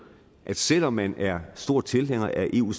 at selv om man er stor tilhænger af eu